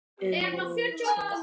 Um mótið